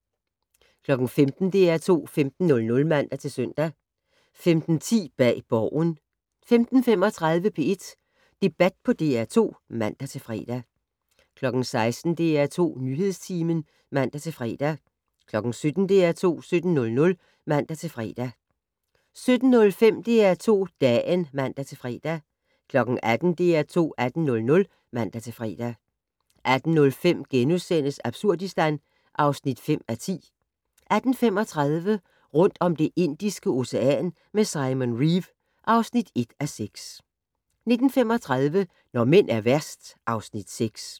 15:00: DR2 15:00 (man-søn) 15:10: Bag Borgen 15:35: P1 Debat på DR2 (man-fre) 16:00: DR2 Nyhedstimen (man-fre) 17:00: DR2 17:00 (man-fre) 17:05: DR2 Dagen (man-fre) 18:00: DR2 18:00 (man-fre) 18:05: Absurdistan (5:10)* 18:35: Rundt om Det Indiske Ocean med Simon Reeve (1:6) 19:35: Når mænd er værst (Afs. 6)